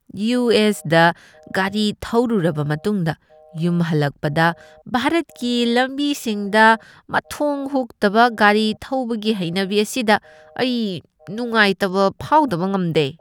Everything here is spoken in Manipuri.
ꯌꯨ. ꯑꯦꯁ. ꯗ ꯒꯥꯔꯤ ꯊꯧꯔꯨꯔꯕ ꯃꯇꯨꯡꯗ, ꯌꯨꯝ ꯍꯟꯂꯛꯄꯗ ꯚꯥꯔꯠꯀꯤ ꯂꯝꯕꯤꯁꯤꯡꯗ ꯃꯊꯣꯡ ꯍꯨꯛꯇꯕ ꯒꯥꯔꯤ ꯊꯧꯕꯒꯤ ꯍꯩꯅꯕꯤ ꯑꯁꯤꯗ ꯑꯩ ꯅꯨꯡꯉꯥꯏꯇꯕ ꯐꯥꯎꯗꯕ ꯉꯝꯗꯦ ꯫